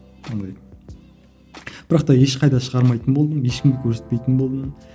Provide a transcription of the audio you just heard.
андай бірақ та ешқайда шығармайтын болдым ешкімге көрсетпейтін болдым